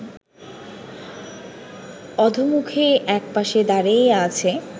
অধোমুখে একপাশে দাঁড়াইয়া আছে